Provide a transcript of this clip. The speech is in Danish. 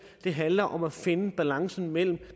det handler om at finde balancen mellem